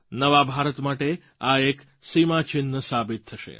નવા ભારત માટે આ એક સીમાચિહ્ન સાબિત થશે